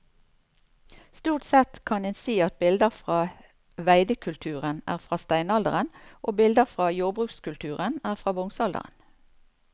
Stort sett kan en si at bilder fra veidekulturen er fra steinalderen og bilder fra jordbrukskulturen er fra bronsealderen.